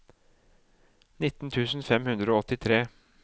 nitten tusen fem hundre og åttitre